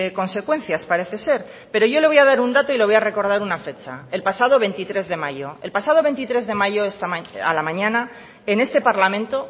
consecuencias parece ser pero yo le voy a dar un dato y le voy a recordar una fecha el pasado veintitrés de mayo el pasado veintitrés de mayo a la mañana en este parlamento